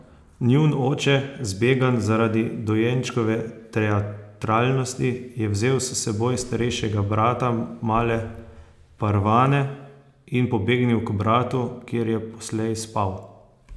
Njun oče, zbegan zaradi dojenčkove teatralnosti, je vzel s seboj starejšega brata male Parvane in pobegnil k bratu, kjer je poslej spal.